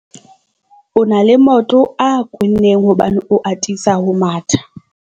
o na le maoto a kwenneng hobane o atisa ho matha